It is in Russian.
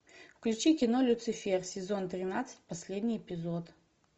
включи кино люцифер сезон тринадцать последний эпизод